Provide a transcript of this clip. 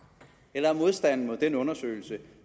eller er modstanden mod den undersøgelse